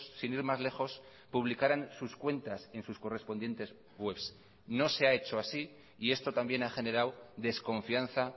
sin ir más lejos publicaran sus cuentas en sus correspondientes webs no se ha hecho así y esto también ha generado desconfianza